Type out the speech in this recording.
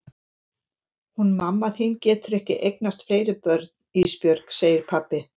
Hún mamma þín getur ekki eignast fleiri börn Ísbjörg, segir pabbi.